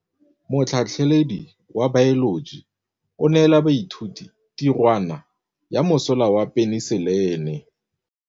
Motlhatlhaledi wa baeloji o neela baithuti tirwana ya mosola wa peniselene.